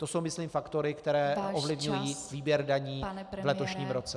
To jsou myslím faktory , které ovlivňují výběr daní v letošním roce.